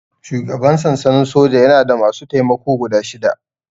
Shugaban sansanin soja yana da masu taimako guda shida